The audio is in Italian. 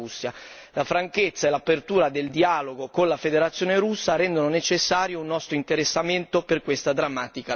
La franchezza e l'apertura del dialogo con la Federazione russa rendono necessario un nostro interessamento per questa drammatica vicenda.